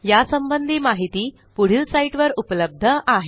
यासंबंधी माहिती पुढील साईटवर उपलब्ध आहे